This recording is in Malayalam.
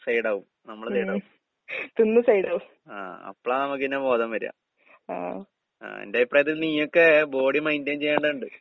സൈഡാവും, നമ്മള് സൈഡാവും. ആഹ് അപ്പളാ നമ്മക്ക് പിന്നെ ബോധം വരാ. ആഹ് എന്റഭിപ്രായത്തിൽ നീയൊക്കെ ബോഡി മൈൻറ്റൈൻ ചെയ്യണ്ടെണ്ട്.